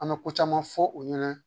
An bɛ ko caman fɔ u ɲɛna